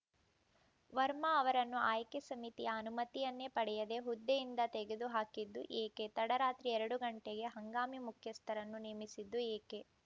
ವರ್ಮಾ ಅವರನ್ನು ಆಯ್ಕೆ ಸಮಿತಿಯ ಅನುಮತಿಯನ್ನೇ ಪಡೆಯದೇ ಹುದ್ದೆಯಿಂದ ತೆಗೆದುಹಾಕಿದ್ದು ಏಕೆ ತಡರಾತ್ರಿ ಎರಡು ಗಂಟೆಗೆ ಹಂಗಾಮಿ ಮುಖ್ಯಸ್ಥರನ್ನು ನೇಮಿಸಿದ್ದು ಏಕೆ